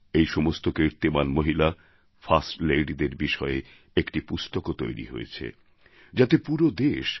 এইসমস্ত কীর্তিমান মহিলা ফার্স্ট ladyদের বিষয়ে একটি পুস্তকও তৈরি হয়েছে যাতে পুরো দেশ